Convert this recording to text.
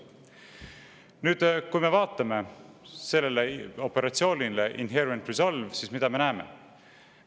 Nüüd, kui me vaatame sellele operatsioonile Inherent Resolve, siis mida me näeme?